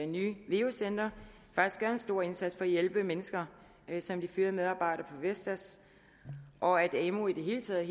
nye veu centre faktisk gør en stor indsats for at hjælpe mennesker som de fyrede medarbejdere vestas og at amu i det hele taget